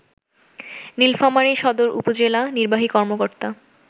নীলফামারী সদর উপজেলা নির্বাহী কর্মকর্তা